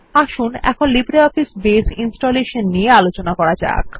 আসুন এখন LibreOffice Base installation নিয়ে আলোচনা করা যাক